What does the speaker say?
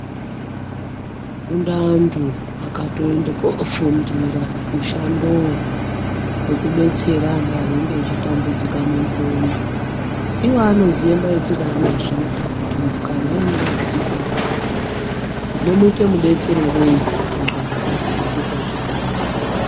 Kune antu akatoende kofundira mushandowo wekubetsera antu anenge echitambudzika mundxondo. Iwo anoziva maitire aanozviita kuti muntu kana aine dambudziko rakadai tinomuita mudetsererei kuti ndxondo dzake dzigadzikane .